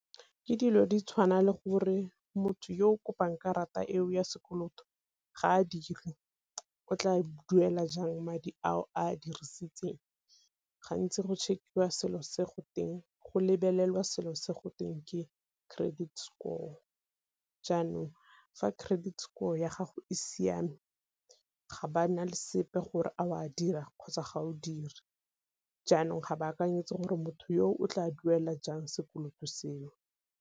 Ke dilo di tshwana le gore motho yo o kopang karata eo ya sekoloto ga a dire o tla duela jang madi ao a dirisitseng, gantsi go check-iwa selo se go teng go lebelela selo se go teng ke credit score, jaanong fa credit score ya gago e siame ga ba na le sepe gore a o a dira kgotsa ga o dire. Jaanong ga ba akanyetsa gore motho yo o tla duela jang sekoloto seo.